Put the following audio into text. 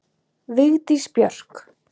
Vigdís Björk.